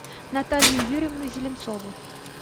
наталью юрьевну зеленцову